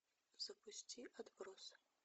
запусти отбросы